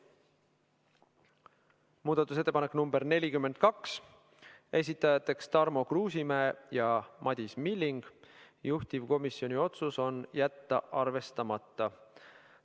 Muudatusettepanek nr 42, esitajateks on Tarmo Kruusimäe ja Madis Milling, juhtivkomisjoni otsus on jätta see arvestamata.